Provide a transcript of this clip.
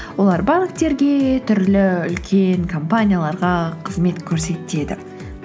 олар банктерге түрлі үлкен компанияларға қызмет көрсетеді